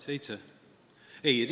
Seitse?